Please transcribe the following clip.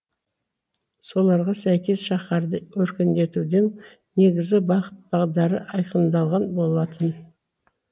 соларға сәйкес шаһарды өркендетуден негізгі бағыт бағдары айқындалған болатын